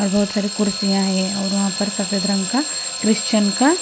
और बहुत सारी कुर्सियां है और वहां पर सफेद रंग का क्रिश्चियन का--